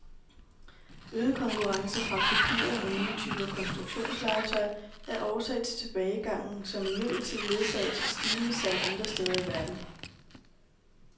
Øget konkurrence fra kopier og nye typer konstruktionslegetøj er årsag til tilbagegangen, som imidlertid ledsages af stigende salg andre steder i verden.